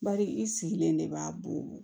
Bari i sigilen de b'a bɔ